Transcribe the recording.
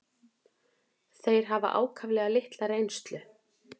Þeir hafa ákaflega litla reynslu.